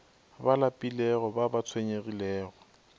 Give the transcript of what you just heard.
ba lapilego ba ba tshwenyegilego